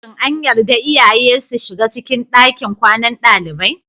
Shin an yarda iyaye su shiga cikin ɗakin kwanan dalibai?